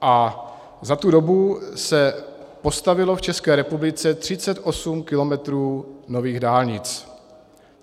A za tu dobu se postavilo v České republice 38 kilometrů nových dálnic.